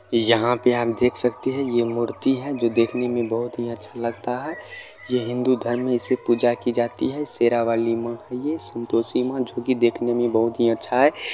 यहाँ पे आप देख सकते हैं यह मूर्ति है जो देखने में बहुत ही अच्छा लगता है ये हिंदू धर्म में इस पूजा की जाती है शेरा वाली माँ है ये संतोषी माँ जो की देखने में बहुत ही अच्छा है।